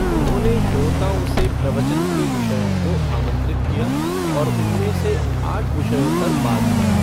उन्होंने श्रोताओं से प्रवचन के विषयों को आमंत्रित किया और उनमें से आठ विषयों पर बात की।